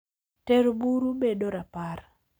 Tero buru bedo rapar .